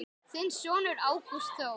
Þinn sonur Ágúst Þór.